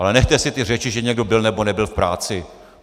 Ale nechte si ty řeči, že někdo byl, nebo nebyl v práci!